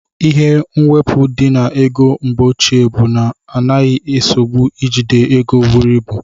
Ihe mwepu di na ego mgbeoche bu na ọna enye nsogbu ijide ego buru ibụ.